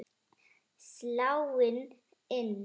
Sláin inn.